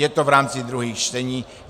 Je to v rámci druhých čtení.